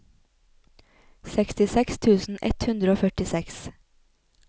sekstiseks tusen ett hundre og førtiseks